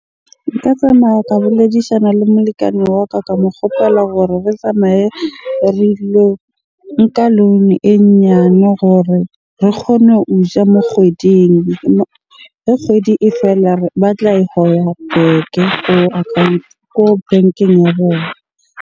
Nka tsamaya ka boledishana le molekane wa ka. Ka mo kgopela hore re tsamaye nka loan-o e nyane gore re kgone ho ja mo kgweding. Kgwedi e fela batla e back-e account, ko bankeng ya bona.